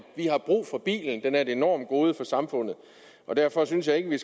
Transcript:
vi har brug for bilen den er et enormt gode for samfundet derfor synes jeg ikke at vi